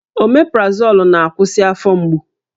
Omeprazolụ na-akwụsị afọ mgbu